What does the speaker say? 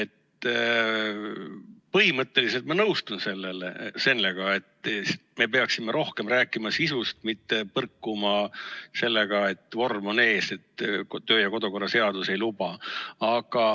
Põhimõtteliselt ma nõustun sellega, et me peaksime rohkem rääkima sisust, mitte põrkuma sellega, et vorm on ees, et kodu- ja töökorra seadus ei luba.